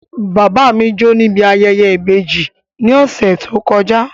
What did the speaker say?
Bàbá mi jó níbi ayẹyẹ ìbejì ní ọ̀sẹ̀ tó kọjá